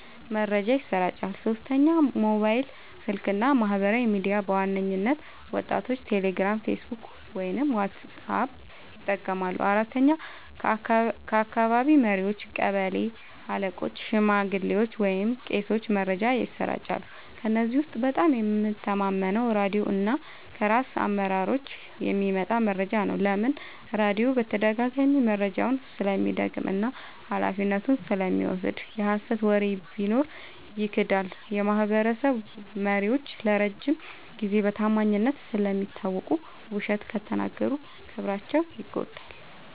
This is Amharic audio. መረጃ ይሰራጫል። 3. ሞባይል ስልክ እና ማህበራዊ ሚዲያ – በዋናነት ወጣቶች ቴሌግራም፣ ፌስቡክ ወይም ዋትስአፕ ይጠቀማሉ። 4. ከአካባቢ መሪዎች – ቀበሌ አለቆች፣ ሽማግሌዎች ወይም ቄሶች መረጃን ያሰራጫሉ። ከእነዚህ ውስጥ በጣም የምተማመነው ራድዮ እና ከራስ አመራሮች የሚመጣ መረጃ ነው። ለምን? · ራድዮ በተደጋጋሚ መረጃውን ስለሚደግም እና ኃላፊነቱን ስለሚወስድ። የሀሰት ወሬ ቢኖር ይክዳል። · የማህበረሰብ መሪዎች ለረጅም ጊዜ በታማኝነት ስለሚታወቁ፣ ውሸት ከተናገሩ ክብራቸው ይጎዳል።